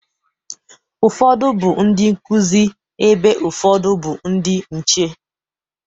Ụfọdụ bụ ndị nkụzi, ebe ụfọdụ bụ ndị nche.